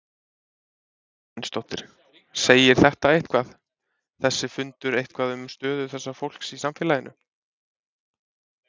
Sunna Sæmundsdóttir: Segir þetta eitthvað, þessi fundur eitthvað um stöðu þessa fólks í samfélaginu?